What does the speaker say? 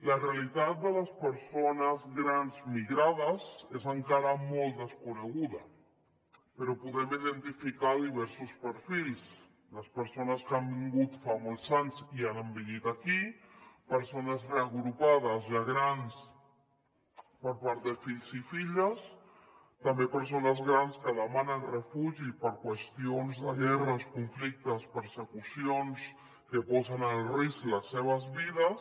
la realitat de les persones grans migrades és encara molt desconeguda però en podem identificar diversos perfils les persones que han vingut fa molts anys i han envellit aquí persones reagrupades ja grans per part de fills i filles també persones grans que demanen refugi per qüestions de guerres conflictes persecucions que posen en risc les seves vides